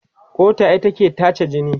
ƙoda ita ke tace jini.